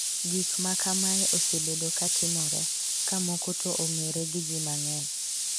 Gik ma kamae osebedo ka timore, ka moko to ong’ere gi ji mang'eny